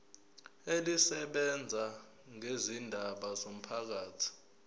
elisebenza ngezindaba zomphakathi